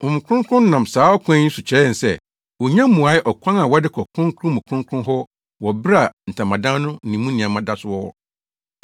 Honhom Kronkron no nam saa ɔkwan yi so kyerɛ yɛn sɛ, wonnya mmuee ɔkwan a wɔde kɔ Kronkron mu Kronkron hɔ wɔ bere a Ntamadan no ne mu nneɛma da so wɔ hɔ.